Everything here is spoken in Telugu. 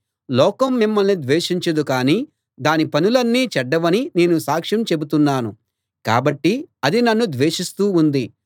లోకం మిమ్మల్ని ద్వేషించదు కానీ దాని పనులన్నీ చెడ్డవని నేను సాక్ష్యం చెబుతున్నాను కాబట్టి అది నన్ను ద్వేషిస్తూ ఉంది